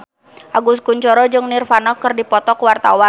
Agus Kuncoro jeung Nirvana keur dipoto ku wartawan